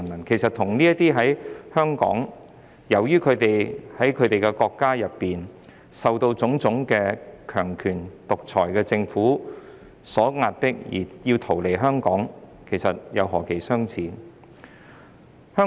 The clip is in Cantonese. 其實，那些香港人與這些由於在其本身國家受到種種強權及獨裁政府的壓力，而要逃到香港的難民，兩者之間何其相似。